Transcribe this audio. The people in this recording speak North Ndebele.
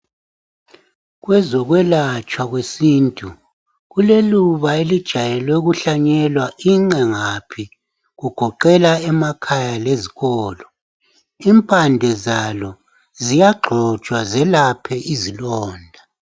kwezokwelatshwa kwesintu kuleluba elijayelwe ukuhlanyelwa inqengaphi kugoqelwa emakhaya lezikolo impande zalo ziyaxhotshwa zelaphe izilonda